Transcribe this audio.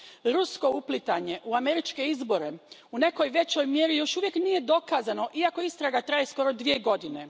Rusko uplitanje u američke izbore u nekoj većoj mjeri još uvijek nije dokazano, iako istraga traje skoro dvije godine.